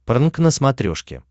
прнк на смотрешке